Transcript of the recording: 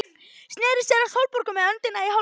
Sneri sér að Sólborgu með öndina í hálsinum.